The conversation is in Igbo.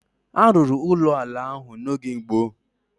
A rụrụ ụlọ ala ahụ n'oge gboo